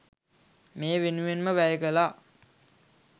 මේ වෙනුවෙන්ම වැය කළා.